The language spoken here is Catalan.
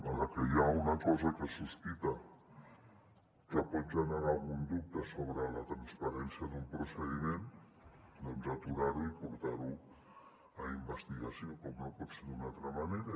a la que hi ha una cosa que es sospita que pot generar algun dubte sobre la transparència d’un procediment doncs aturar ho i portar ho a investigació com no pot ser d’una altra manera